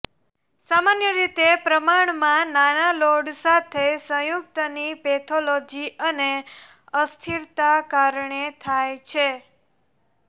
સામાન્ય રીતે પ્રમાણમાં નાના લોડ સાથે સંયુક્ત ની પેથોલોજી અને અસ્થિરતા કારણે થાય છે